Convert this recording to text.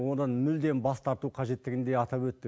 одан мүлдем бас тарту қажеттігін де атап өтті